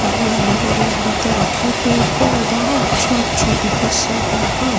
हरियाली-हरियाली ता की पेड़-पौधा अच्छा-अच्छा दिखत सबो ह--